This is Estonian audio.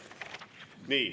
Nii.